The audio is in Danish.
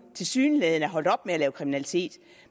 tilsyneladende er holdt op med at begå kriminalitet